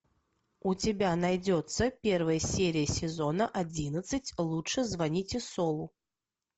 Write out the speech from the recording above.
у тебя найдется первая серия сезона одиннадцать лучше звоните солу